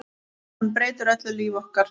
Hann breytir öllu lífi okkar.